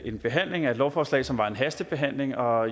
en behandling af et lovforslag som var en hastebehandling og